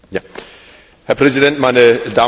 Herr Präsident, meine Damen und Herren!